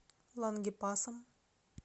лангепасом